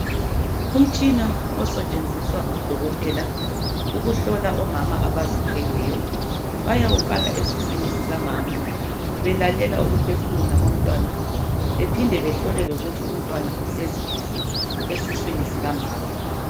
umtshina osetshenziswa ngodokotela ukuhlola abomama abazithweleyo bayawufaka esiswini sikamama belalela ukuphefumula komntwana bephinde behlole ukuthi umntwana uhleli kuhle esiswini sikamama